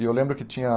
E eu lembro que tinha a